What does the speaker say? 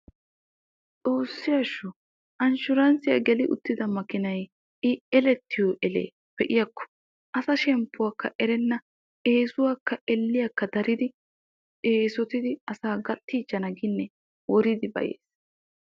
Xoossi asho, anshshurassiya geli uttidda maakinay i elettiyo elee be'iyaakko asa shemppuwaakka erenna eesuwakka elliyakka daridi eesotidi asaa gattiichchana ginne woridi bayyes